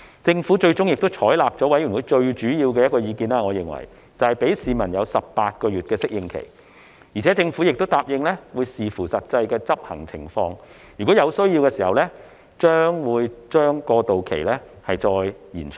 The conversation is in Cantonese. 政府最終亦採納了我認為是法案委員會最主要的意見，就是讓市民有18個月的適應期，而且政府亦答應會視乎實際執行情況，如果有需要，將會把過渡期再延長。